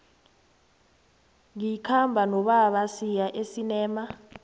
ngikhamba nobaba siya esinema